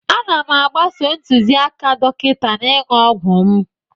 Ana m agbaso ntụziaka dọkịta n'ịṅụ ọgwụ m